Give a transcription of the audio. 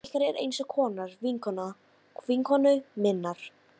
Móðir ykkar er eins konar vinkona vinkonu minnar.